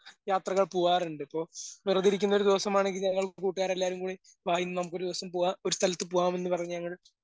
യാത്രകൾ പോവാറിണ്ടിപ്പോ. വെറുതെഇരിക്കുന്ന ഒരു ദിവസമാണെങ്കിൽ ഞങ്ങൾ കൂട്ടുകാരെല്ലാം കൂടി വാ നമുക്കൊരു ദിവസം പോവാം ഒരു സ്ഥലത്ത് പോവാന്ന് പറഞ്ഞ ഞങ്ങൾ